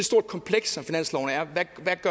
stort kompleks som finansloven er